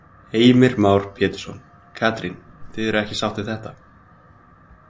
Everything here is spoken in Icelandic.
Heimir Már Pétursson: Katrín, þið eruð ekki sátt við þetta?